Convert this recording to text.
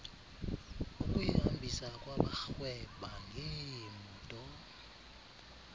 ukuyihambisa kwabarhweba ngeemoto